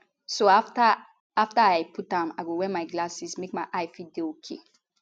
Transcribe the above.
so afta i afta i put am i go wear my glasses make my eye fit dey okay